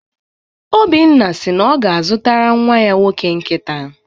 Obinna si na ọ ga-azụtara nnwa ya nwoke nkịta.